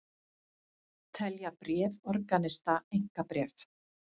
Telja bréf organista einkabréf